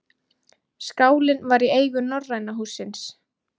Skálinn var í eigu Norræna hússins